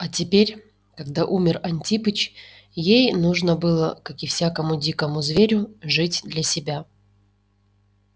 а теперь когда умер антипыч ей нужно было как и всякому дикому зверю жить для себя